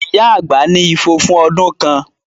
Ìyá àgbà ní ifo fún ọdún kan